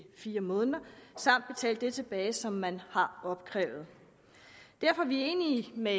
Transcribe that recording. fire måneder samt skal betale det tilbage som man har opkrævet derfor er vi enige med